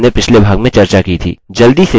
जल्दी से संक्षेप में दोहराते हैं जो हमने पिछले भाग किया था